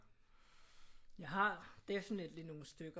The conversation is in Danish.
Jeg har definitely nogle stykker